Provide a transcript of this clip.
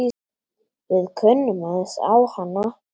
Við kunnum aðeins á hana.